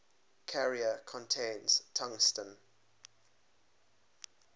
carrier contains tungsten